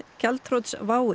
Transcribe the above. gjaldþrots WOW